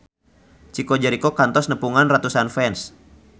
Chico Jericho kantos nepungan ratusan fans